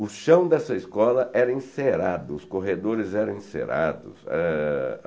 O chão dessa escola era encerado, os corredores eram encerados. Eh